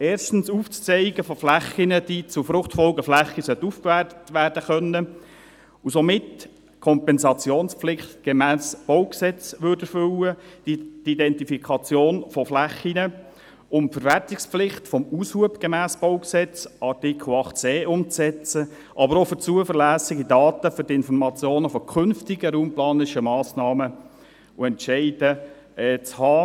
zum Aufzeigen von Flächen, welche zu Fruchtfolgeflächen aufgewertet werden können und somit die Kompensationspflicht gemäss BauG erfüllen würden, zur Identifikation von Flächen sowie um die Verwertungspflicht des Aushubs gemäss Artikel 8c BauG umzusetzen, aber auch, um zuverlässige Daten für die Informationen von künftigen raumplanerischen Massnahmen zu haben.